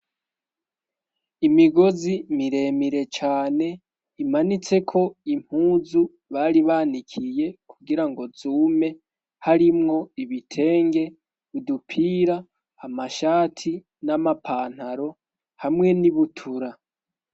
imigozi miremire cane imanitse ko impuzu bari banikiye kugira ngo zume harimwo ibitenge udupira amashati n'amapantaro hamwe n'ibutura